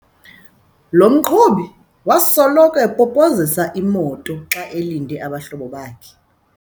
Lo mqhubi wasoloko epopozisa imoto xa elinde abahlobo bakhe.